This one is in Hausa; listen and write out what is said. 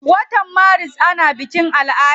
Wata maris ana bikin ala'ada.